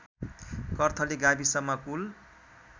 कर्थली गाविसमा कुल